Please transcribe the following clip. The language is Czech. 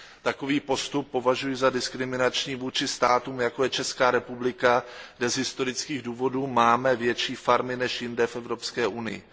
Takový postup považuji za diskriminační vůči státům, jako je Česká republika, kde z historických důvodů máme větší farmy než jinde v Evropské unii.